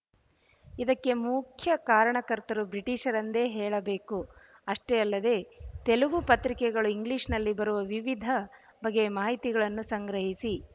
ಇದಕ್ಕೆ ಮುಖ್ಯ ಕಾರಣಕರ್ತರು ಬ್ರಿಟಿಷರೆಂದೇ ಹೇಳಬೇಕು ಅಷ್ಟೇ ಅಲ್ಲದೆ ತೆಲುಗು ಪತ್ರಿಕೆಗಳು ಇಂಗ್ಲಿಶ‍ನಲ್ಲಿ ಬರುವ ವಿವಿಧ ಬಗೆಯ ಮಾಹಿತಿಗಳನ್ನು ಸಂಗ್ರಹಿಸಿ